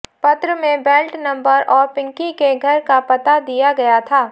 पत्र में belt number और पिंकी के घर का पता दिया गया था